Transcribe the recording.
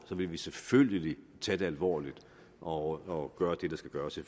vil vi selvfølgelig tage det alvorligt og gøre det der skal gøres i